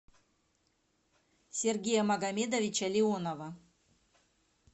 сергея магомедовича леонова